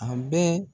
A bɛɛ